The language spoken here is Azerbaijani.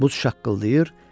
Buz şaqqıldayır,